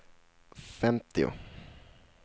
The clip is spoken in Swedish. femtio